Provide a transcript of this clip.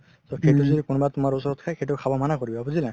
ট সেইটো যদি কোনোবাই তুমাৰ ওচৰত খাই সেইটো খাব মানা কৰিবা বুজিলা